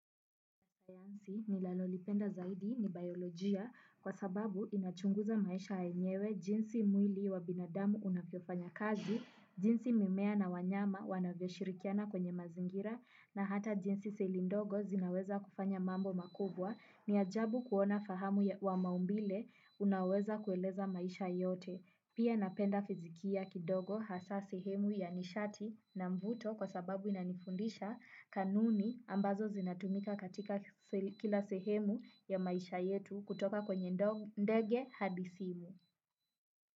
Sayansi ninalolipenda zaidi ni biolojia kwa sababu inachunguza maisha yenyewe jinsi mwili wa binadamu unavyofanya kazi, jinsi mimea na wanyama wanavyoshirikiana kwenye mazingira na hata jinsi seli ndogo zinaweza kufanya mambo makubwa, ni ajabu kuona fahamu wa maumbile unaweza kueleza maisha yote. Pia napenda fizikia kidogo hasaa sehemu ya nishati na mvuto kwa sababu inanifundisha kanuni ambazo zinatumika katika kila sehemu ya maisha yetu kutoka kwenye ndege hadi simu.